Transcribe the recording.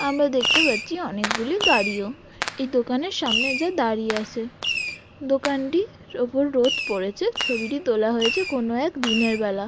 আমরা দেখতে পাচ্ছি অনেক গুলি গাড়িও এই দোকানের সামনে এসে দাঁড়িয়ে আছে। দোকানটির ওপর রোদ পড়েছে ছবিটি তোলা হয়েছে কোনো এক দিনের বেলা।